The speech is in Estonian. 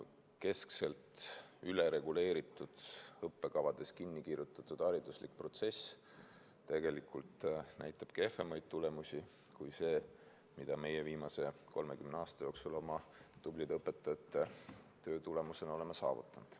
Keskselt ülereguleeritud õppekavades kinni kirjutatud hariduslik protsess näitab tegelikult kehvemaid tulemusi kui see, mida meie viimase 30 aasta jooksul oma tublide õpetajate töö tulemusena oleme saavutanud.